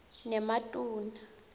nematuna